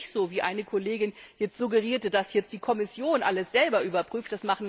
Es ist ja nicht so, wie eine Kollegin jetzt suggerierte, dass die Kommission alles selbst überprüft.